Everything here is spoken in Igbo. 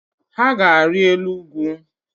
Ha ga-ari elu ugwu